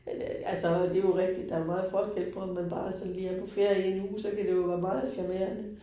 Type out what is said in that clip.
Øh altså det jo rigtigt der jo meget forskel på, om man bare sådan lige er på ferie 1 uge, så kan det jo være meget charmerende